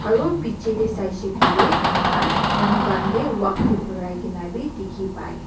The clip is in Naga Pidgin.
aru bichae tae saishey koilae amikhan manu khan kae walk tae birai kina bi dikhipai.